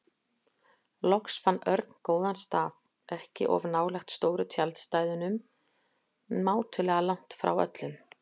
Loks fann Örn góðan stað, ekki of nálægt stóru tjaldstæðunum, mátulega langt frá öllum.